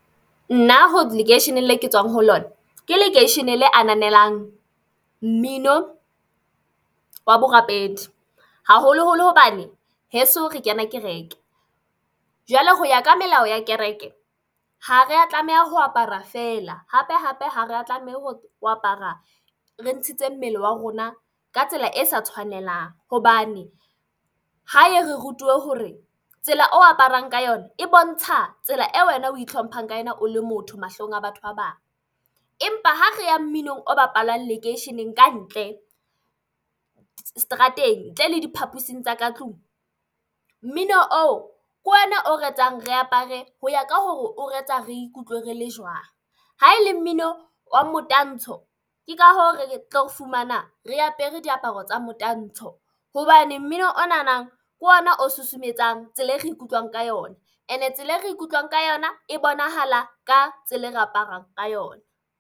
Nna lekeishene le ke tswang ho lona, ke lekeishene le ananelang mmino wa borapedi, haholoholo hobane heso re kena kereke, jwale ho ya ka melao ya kereke ha re a tlameha ho apara fela hape hape ha reya tlameha ho apara re ntshitse mmele wa rona ka tsela e sa tshwanelang hobane hae re rutiwe hore tsela o aparang ka yona e bontsha tsela eo wena o itlhomphang ka yona o le motho mahlong a batho ba bang. Empa ha re ya mminong o bapalwang lekeisheneng kantle strateng ntle le diphapusing tsa ka tlung. Mmino oo ke ona o re etsang re apare ho ya ka hore o re etsa re ikutlwe re le jwang ha e le mmino wa motantsho, ke ka hoo re tlo fumana re apere diaparo tsa motantsho hobane mmino o nanang ke ona o susumetsang tsela e re ikutlwang ka yona ene tsela e re ikutlwang ka yona e bonahala ka tsela e re aparang ka yona.